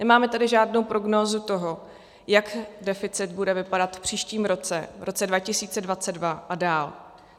Nemáme tady žádnou prognózu toho, jak deficit bude vypadat v příštím roce, v roce 2022 a dál.